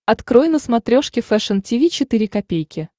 открой на смотрешке фэшн ти ви четыре ка